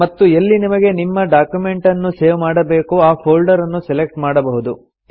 ಮತ್ತು ಎಲ್ಲಿ ನಿಮಗೆ ನಿಮ್ಮ ಡಾಕ್ಯುಮೆಂಟನ್ನು ಸೇವ್ ಮಾಡಬೇಕೋ ಆ ಫೊಲ್ಡರ್ ಅನ್ನು ಸೆಲೆಕ್ಟ್ ಮಾಡಬಹುದು